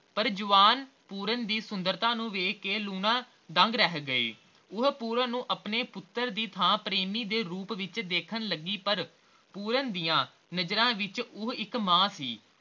ਪਰ ਜਵਾਨ ਪੂਰਨ ਦੀ ਸੁੰਦਰਤਾ ਨੂੰ ਵੇਖ ਕੇ ਲੂਣਾ ਦੰਗ ਰਹਿ ਗਈ ਉਹ ਪੂਰਨ ਨੂੰ ਆਪਣੇ ਪੁੱਤਰ ਦੀ ਥਾਂ ਪ੍ਰੇਮੀ ਦੇ ਰੂਪ ਵਿਚ ਦੇਖਣ ਲੱਗੀ ਪਰ ਪੂਰਨ ਦੀਆ ਨਜ਼ਰਾਂ ਵਿਚ ਉਹ ਇਕ ਮਾਂ ਸੀ